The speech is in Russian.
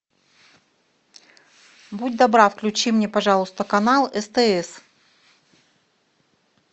будь добра включи мне пожалуйста канал стс